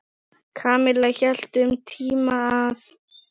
Kamilla hélt um tíma að